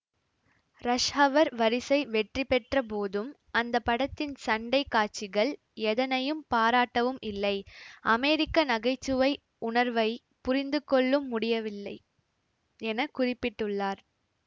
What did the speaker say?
rush Hour வரிசை வெற்றிபெற்ற போதும் அந்த படத்தின் சண்டை காட்சிகள் எதனையும் பாராட்டவும் இல்லை அமெரிக்க நகைச்சுவை உணர்வை புரிந்துகொள்ளும் முடியவில்லை என குறிப்பிட்டுள்ளார்